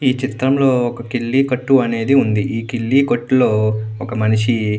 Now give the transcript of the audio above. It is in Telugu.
ఈ చిత్రం లో ఒక కిల్లి కొట్టు అనేది ఉంది ఈ కిల్లి కొట్టు లో ఒక మనిషి.